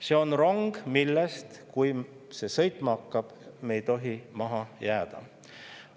See on rong, millest, kui see sõitma hakkab, me ei tohi maha jääda.